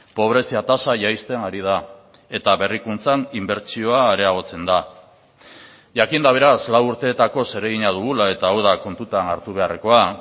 pobrezia tasa jaisten ari da eta berrikuntzan inbertsioa areagotzen da jakinda beraz lau urteetako zeregina dugula eta hau da kontutan hartu beharrekoa